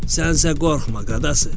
Sənsə qorxma, qadası.